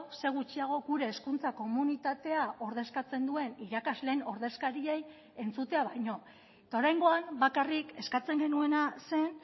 ze gutxiago gure hezkuntza komunitatea ordezkatzen duen irakasleen ordezkariei entzutea baino eta oraingoan bakarrik eskatzen genuena zen